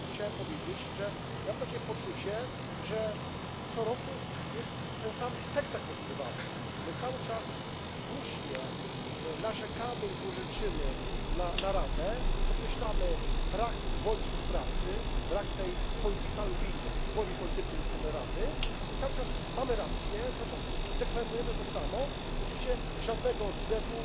Chciałem powiedzieć, że ja mam takie poczucie, że co roku jest ten sam spektakl odgrywany my cały czas słusznie narzekamy i złorzeczymy na Radę, podkreślamy brak woli współpracy, brak tej political will woli politycznej ze strony Rady i cały czas mamy rację, cały czas deklarujemy to samo i oczywiście żadnego odzewu.